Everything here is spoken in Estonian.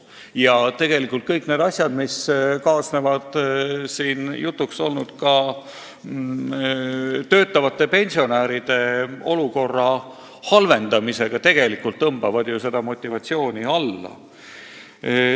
Ja tegelikult kõik need asjad, mis kaasnevad jutuks olnud töötavate pensionäride olukorra halvendamisega, tegelikult tõmbavad ju seda motivatsiooni alla.